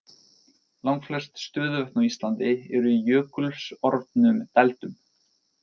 Langflest stöðuvötn á Íslandi eru í jökulsorfnum dældum.